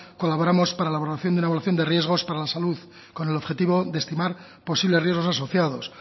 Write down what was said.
colaboramos para la elaboración de evaluación de riesgos para la salud con el objetivo de estimar posibles riesgos asociados